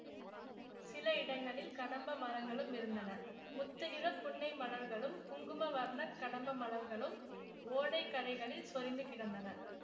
சில இடங்களில் கடம்ப மரங்களும் இருந்தன முத்துநிறப் புன்னை மலர்களும் குங்கும வர்ணக் கடம்ப மலர்களும் ஓடை கரைகளில் சொரிந்து கிடந்தன